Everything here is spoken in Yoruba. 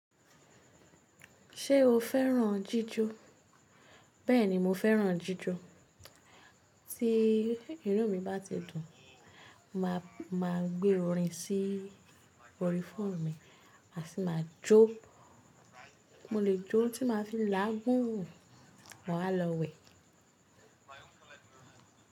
Ṣé o fẹ́ràn jíjó? Bẹ́ẹ̀ni mo fẹ́ràn jíjó. Tí inumi bá ti dùn, màá gbé orin sí òrìfófó mi, àsí máa jó. Mo lè jó tí màá fi làágùn wà á lọ wẹ̀